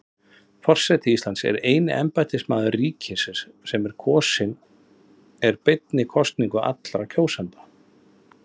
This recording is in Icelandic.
Forseti Íslands er eini embættismaður ríkisins sem kosinn er beinni kosningu allra kjósenda.